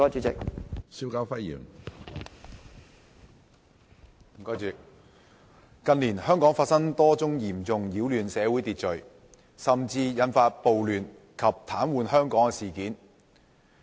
主席，近年香港發生多宗嚴重擾亂社會秩序，甚至引發暴亂及癱瘓香港的事件。